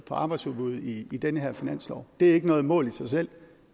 arbejdsudbuddet i i den her finanslov det er ikke noget mål i sig selv